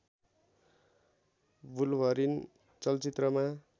wolverine चलचित्रमा